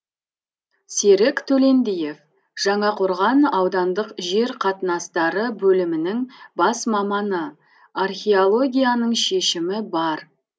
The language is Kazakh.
серік төлендиев жаңақорған аудандық жер қатынастары бөлімінің бас маманы археологияның шешімі бар